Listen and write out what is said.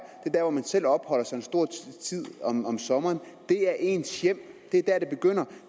der hvor man selv opholder sig af tiden om sommeren det er ens hjem det er der det begynder